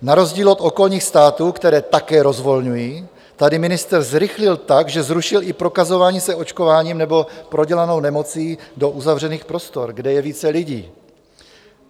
Na rozdíl od okolních států, které také rozvolňují, tady ministr zrychlil tak, že zrušil i prokazování se očkováním nebo prodělanou nemocí do uzavřených prostor, kde je více lidí.